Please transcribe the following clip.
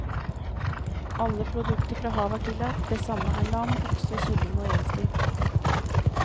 Alle produkter fra havet er tillatt, det samme er lam, okse, kylling og reinsdyr.